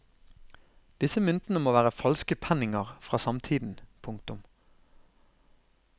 Disse myntene må være falske penninger fra samtiden. punktum